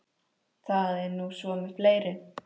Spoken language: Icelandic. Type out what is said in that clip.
Það er nú svo með fleiri.